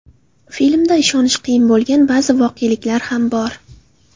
Filmda ishonish qiyin bo‘lgan ba’zi voqeliklar ham bor.